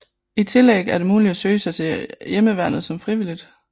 I tillæg er det muligt at søge sig til Heimevernet som frivillig